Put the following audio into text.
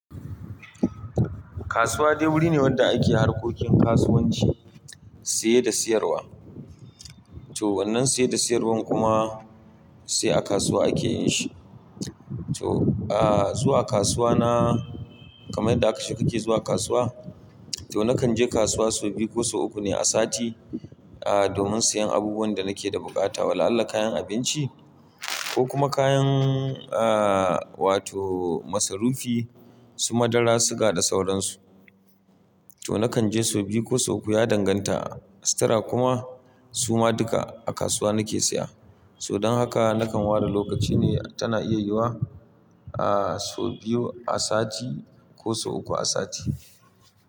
Kasuwa dai wuri ne wanda ake harkokin kasuwanci, saye da siyarwa. To wannan saye da siyarwan kuma sai a kasuwa ake yi shi. To, ah zuwa kasuwa na kamar da aka ce kake zuwa kasuwa. To nakan je kasuwa sau biyu ko sau uku ne a sati, ah domin siyan abubuwan da nake da buƙata. Wallahi kayan abinci ko kuma kayan ah wato masarufi su madara, suga da sauransu. To nakan je sau biyu ko sau uku ya danganta, sutura kuma su ma duka a kasuwa nake siya. To don haka nakan ware lokaci ne tana iya yiwuwa ah sau biyu a sati ko sau uku a sati.